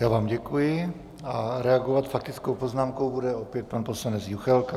Já vám děkuji a reagovat faktickou poznámkou bude opět pan poslanec Juchelka.